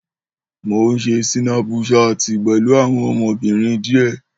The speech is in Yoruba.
Mó ń ṣe sínápùsaatì pẹ̀lú àwọn ọmọbìnrin díè